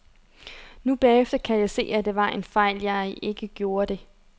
Nu bagefter kan jeg se, at det var en fejl, jeg ikke gjorde det.